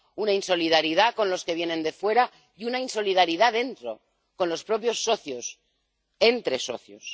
Una insolidaridad con los que vienen de fuera y una insolidaridad dentro con los propios socios, entre socios.